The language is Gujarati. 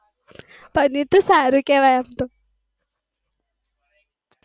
પનીર તો સારું કેવાય અમ તો